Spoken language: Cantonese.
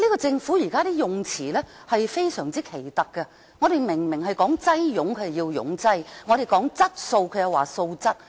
政府現時的用字非常奇特，我們說"擠擁"，它就說"擁擠"；我們說"質素"，它就說"素質"。